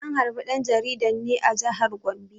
An harbe ɗan jaridan ne a jihar Gombe.